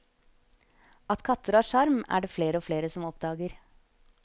At katter har sjarm, er det flere og flere som oppdager.